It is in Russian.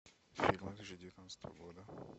фильмы две тысячи девятнадцатого года